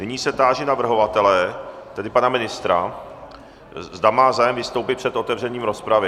Nyní se táži navrhovatele, tedy pana ministra, zda má zájem vystoupit před otevřením rozpravy.